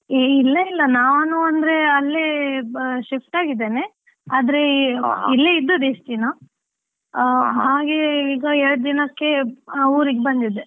ಹೇ ಇಲ್ಲ ಇಲ್ಲ, ನಾನು ಅಂದ್ರೆ ಅಲ್ಲೇ shift ಆಗಿದ್ದೇನೆ ಇಲ್ಲೇ ಇದ್ದದ್ದು ಇಷ್ಟ್ ದಿನ ಆ ಹಾಗೆ ಈಗ ಎರಡ್ ದಿನಕ್ಕೆ ಈಗ ಆ ಊರಿಗ್ ಬಂದಿದ್ದೆ.